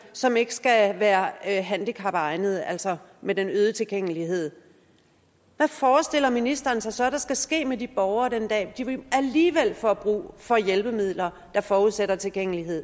som ikke skal være handicapegnede altså med den øgede tilgængelighed hvad forestiller ministeren sig så der skal ske med de borgere den dag hvor de alligevel får brug for hjælpemidler der forudsætter tilgængelighed